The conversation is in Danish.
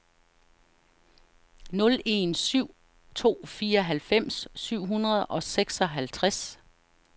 nul en syv to fireoghalvfems syv hundrede og seksoghalvtreds